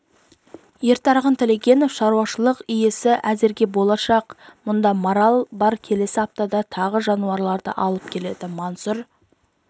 ертарғын тілегенов шаруашылық иесі әзірге болашақ мұнда марал бар келесі аптада тағы жануарды алып келеді мансұр